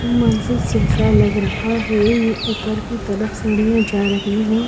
मंजिस जैसा लग रहा है ये ऊपर की तरफ सीढ़ियां जा रही है।